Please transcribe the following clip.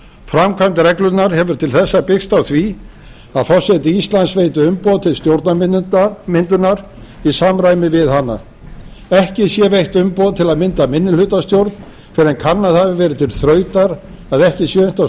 framkvæmd reglunnar hefur til þessa byggst á því að forseti íslands veiti umboð til stjórnarmyndunar í samræmi við hana ekki sé veitt umboð til að mynda minnihlutastjórn fyrr en kannað hafi verið til þrautar að ekki sé unnt að